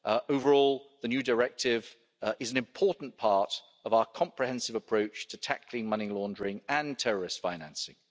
Overall, the new directive is an important part of our comprehensive approach to tackling money laundering and terrorist financing.